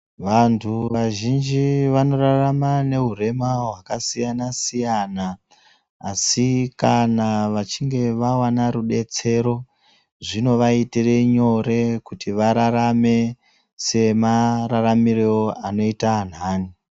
Vantu vazhinji vanorarama nehurema hwakasiyanasiyana asi kana vachinge vawana rubetsero zvinovaitire nyore kuti vararame samararamiro anoita anhani.